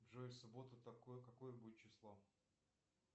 джйо в субботу какое будет число